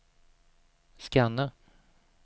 scanna